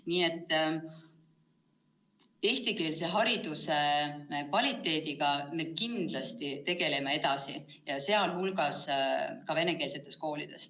Nii et eestikeelse hariduse kvaliteediga me kindlasti tegeleme edasi, ka venekeelsetes koolides.